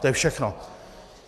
To je všechno.